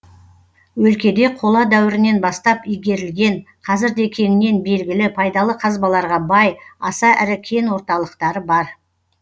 өлкеде қола дәуірінен бастап игерілген қазір де кеңінен белгілі пайдалы қазбаларға бай аса ірі кен орталықтары бар